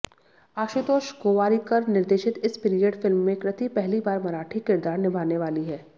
आशुतोष गोवारिकर निर्देशित इस period film में कृति पहली बार मराठी किरदार निभाने वाली हैं